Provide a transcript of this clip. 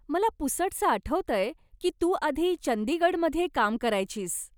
मला पुसटसं आठवतंय की तू आधी चंदीगडमध्ये काम करायचीस.